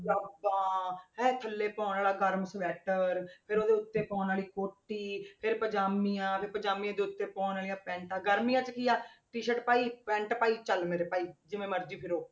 ਜ਼ਰਾਬਾਂ ਇਹ ਥੱਲੇ ਪਾਉਣ ਵਾਲਾ ਗਰਮ ਸਵੈਟਰ, ਫਿਰ ਉਹਦੇ ਉੱਤੇ ਪਾਉਣ ਵਾਲੀ ਕੋਟੀ, ਫਿਰ ਪੰਜਾਮੀਆਂ, ਫਿਰ ਪੰਜਾਮੀ ਦੇ ਉੱਤੇ ਪਾਉਣ ਵਾਲੀਆਂ ਪੈਂਟਾਂ, ਗਰਮੀਆਂ 'ਚ ਕੀ ਆ t-shirt ਪਾਈ pant ਪਾਈ ਚੱਲ ਮੇਰੇ ਭਾਈ ਜਿਵੇਂ ਮਰਜ਼ੀ ਫਿਰੋ,